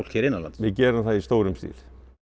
hér innanlands við gerum það í stórum stíl